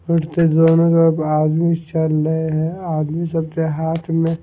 फिर से दोनों लोग आदमी चल रहे हैं आदमी सबके हाथ में--